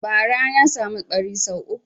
Bara na samu ɓari sau uku